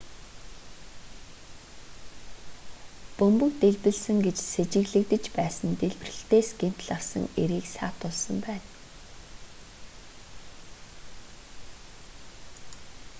бөмбөг дэлбэлсэн гэж сэжиглэгдэж байсан дэлбэрэлтээс гэмтэл авсан эрийг саатуулсан байна